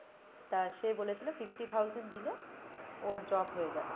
তা সে বলেছিলো fifty thousand দিলে ওর job হয়ে যাবে,